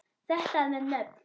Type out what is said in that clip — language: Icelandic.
Þetta með nöfn